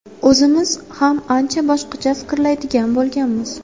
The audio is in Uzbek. O‘zimiz ham ancha boshqacha fikrlaydigan bo‘lganmiz.